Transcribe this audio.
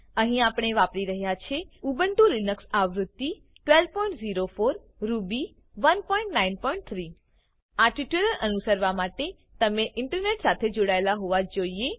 અહીં આપણે વાપરી રહ્યા છે ઉબુન્ટુ લિનક્સ આવૃત્તિ 1204 રૂબી 193 આ ટ્યુટોરીયલ અનુસરવા માટે તમે ઇન્ટરનેટ સાથે જોડાયેલ હોવા જ જોઈએ